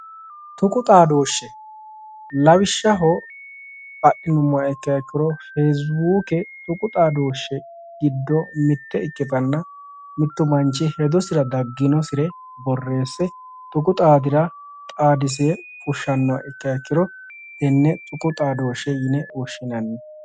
Tuqu xaadoshshe lawishshaho fecibbukke adhinuummoha ikkiro fecibbukke tuqu xaadoshshi giddo mitte ikkite mitu manchi hedosira dagginosire tuqu xaadisire fushshanoha ikkiha ikkiro hatenne tuqu xaadoshshe yinne woshshinanni.